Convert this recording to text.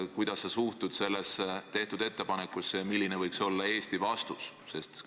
Kuidas sa suhtud sellesse ettepanekusse ja milline võiks olla Eesti vastus?